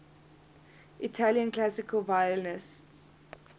italian classical violinists